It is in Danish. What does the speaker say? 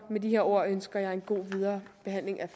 med disse ord ønsker jeg en god viderebehandling af